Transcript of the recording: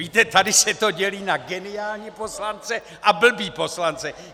Víte, tady se to dělí na geniální poslance a blbý poslance.